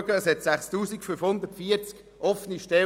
Es gibt 6540 offene Stellen.